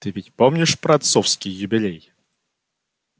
ты ведь помнишь про отцовский юбилей